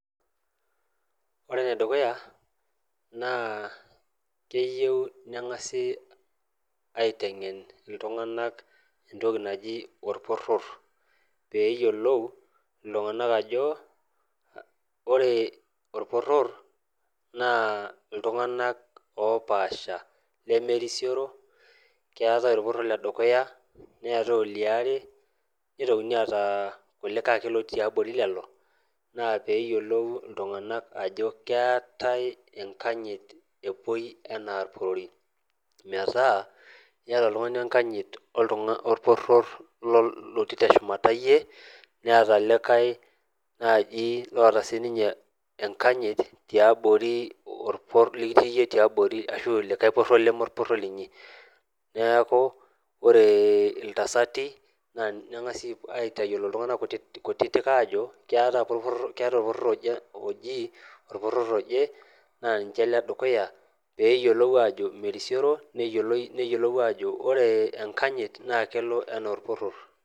Ore enedukuya naa keyieu neng'asi aiteng'en iltung'anak entoki naji orporror pee eyiolou iltung'anak ajo ore orporror naa iltung'anak opaasha lemerisioro keetae orporror ledukuya neetae oliare nitokini aata kulikae ake lotii tiabori lelo naa peeyiolou iltung'anak ajo keetae enkanyit epuoi enaa irporori metaa iyata oltung'ani enkanyit oltung'a orporror lotii teshumata iyie neeta likae naaji loota sininye enkanyit tiabori orporror likitii iyie tiabori ashu likae porror leme orporror linyi neeku ore iltasati naa neng'asi aiatayiolo iltung'anak kutitik ajo keetae apa orporror oje oji orporror oje naa ninche iledukuya peyiolou ajo merisioro neyioloi neyiolou ajo ore enkanyit naa kelo anaa orporror.